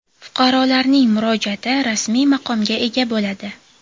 Fuqarolarning murojaati rasmiy maqomga ega bo‘ladi.